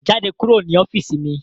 Jáde kúrò ní ọ́fíìsì mi